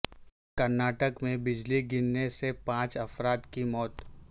کرناٹک میں بجلی گرنے سے پانچ افراد کی موت